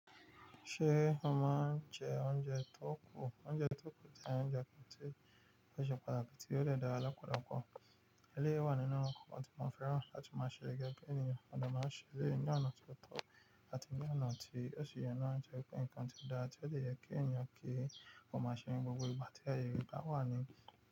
Ṣé o máa ń jẹ oúnjẹ tó kù? Oúnjẹ tó kù jẹ́ oúnjẹ kan tí ó ṣe pàtàkì tí ó dẹ̀ dára lọ́pọ̀lọpọ̀. Eléèyí wà nínú ǹkan tí mo fẹ́ràn láti máa ṣe gẹ́gẹ́ bí ènìyàn, mo dẹ̀ máa ń ṣe ní ọ̀nà tó tọ́, àti ní ọ̀nà tí o si yẹ náà tòrí pé nǹkan tí dáa tí ó ṣe yẹ kí ènìyàn kí ó máa ṣe ní gbogbo ìgbà tí àyèérẹ̀ bá a wà ní.